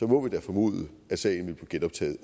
må vi da formode at sagen vil blive genoptaget